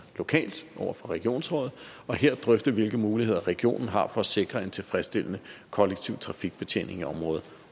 lokalt over for regionsrådet og her drøfte hvilke muligheder regionen har for at sikre en tilfredsstillende kollektiv trafikbetjening af området